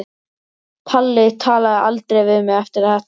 Palli talaði aldrei við mig eftir þetta.